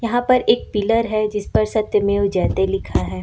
यहां पर एक पिलर है जिसमें सत्यमेव जयते लिखा है।